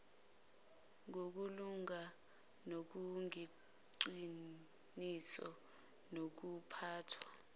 ngokulunga nobuqiniso bokuphathwa